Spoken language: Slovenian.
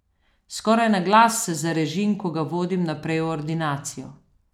Skoraj na glas se zarežim, ko ga vodim naprej v ordinacijo.